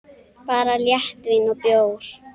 Bara léttvín og bjór.